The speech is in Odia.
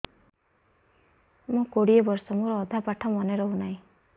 ମୋ କୋଡ଼ିଏ ବର୍ଷ ମୋର ଅଧା ପାଠ ମନେ ରହୁନାହିଁ